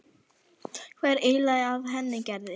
Hvað er eiginlega að henni Gerði.